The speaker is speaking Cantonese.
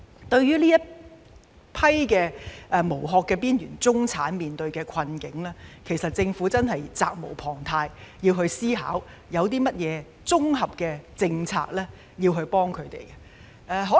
對於這群"無殼"的邊緣中產面對的困境，政府真的責無旁貸，必須思考有甚麼綜合政策可以幫助他們。